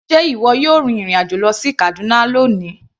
Sé ìwọ yóò rin ìrìn àjò lọ sí Kaduna ní òní.